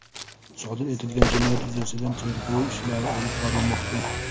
Sodir etilgan jinoyat yuzasidan tergov ishlari olib borilmoqda.